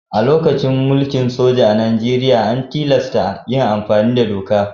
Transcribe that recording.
A lokacin mulkin soja a Nijeriya, an tilasta yin amfani da doka.